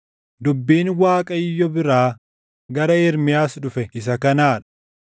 Dubbiin Waaqayyo biraa gara Ermiyaas dhufe isa kanaa dha: